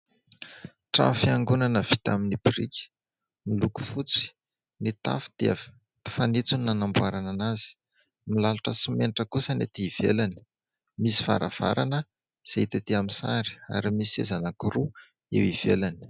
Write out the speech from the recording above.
Trano fiangonana vita amin'ny biriky, miloko fotsy, ny tafo dia fanitsony no nanamboarana azy. Milalotra simenitra kosa ny etỳ ivelany, misy varavarana izay hita etỳ amin'ny sary ary misy seza anankiroa eo ivelany.